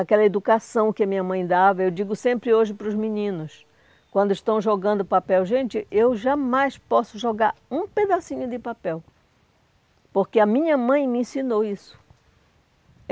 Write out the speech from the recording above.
Aquela educação que a minha mãe dava, eu digo sempre hoje para os meninos, quando estão jogando papel, gente, eu jamais posso jogar um pedacinho de papel, porque a minha mãe me ensinou isso.